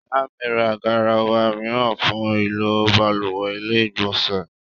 Ìyá mi ra garawa mìíràn fún ìlò balùwẹ́ / ilé ìgbọ̀nsẹ̀